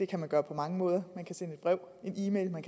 kan man gøre på mange måder man kan sende et brev en e mail man